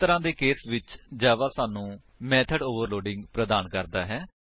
ਇਸ ਤਰਾਂ ਦੇ ਕੇਸ ਵਿੱਚ ਜਾਵਾ ਸਾਨੂੰ ਮੇਥਡ ਓਵਰਲੋਡਿੰਗ ਪ੍ਰਦਾਨ ਕਰਦਾ ਹੈ